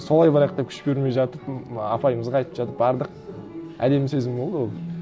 солай барайық деп күш бермей жатып апайымызға айтып жатып бардық әдемі сезім болды ол